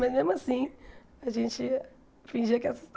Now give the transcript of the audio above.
Mas mesmo assim, a gente fingia que